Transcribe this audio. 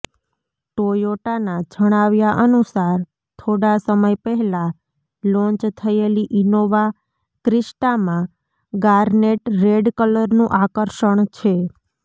ટોયોટાના જણાવ્યા અનુસાર થોડાં સમય પહેલાં લોન્ચ થયેલી ઇનોવા ક્રિસ્ટામાં ગાર્નેટ રેડ કલરનું આકર્ષણ છે